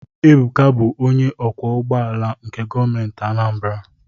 Ebuka bụ onye ọkwọ ụgbọala nke Gọọmenti Anambra.